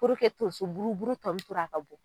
tonrso buru buru tɔ min tora a ka bɔ